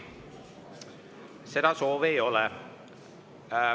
Seda soovi ei ole.